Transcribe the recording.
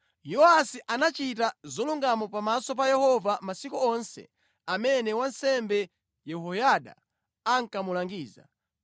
Yowasi anachita zolungama pamaso pa Yehova masiku onse amene wansembe Yehoyada ankamulangiza.